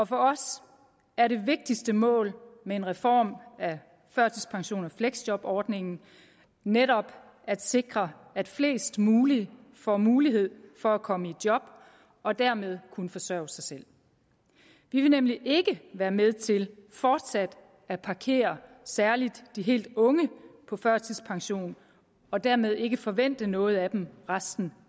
for os er det vigtigste mål med en reform af førtidspensions og fleksjobordningen netop at sikre at flest mulige får mulighed for at komme i job og dermed kunne forsørge sig selv vi vil nemlig ikke være med til fortsat at parkere særlig de helt unge på førtidspension og dermed ikke forvente noget af dem resten